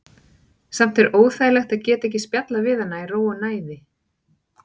Samt er óþægilegt að geta ekki spjallað við hana í ró og næði.